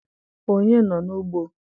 Onye nọ n'ugbo?